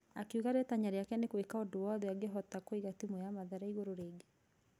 Akĩuga rĩtanya rĩake nĩgũika ũndũ wothe angĩhota kũiga timũ ya mathare igũrũ rigi-inĩ.